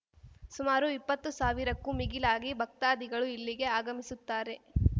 ಸುಮಾರು ಇಪ್ಪತ್ತು ಸಾವಿರಕ್ಕೂ ಮಿಗಿಲಾಗಿ ಭಕ್ತಾದಿಗಳು ಇಲ್ಲಿಗೆ ಆಗಮಿಸುತ್ತಾರೆ